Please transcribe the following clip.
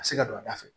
A bɛ se ka don a da fɛ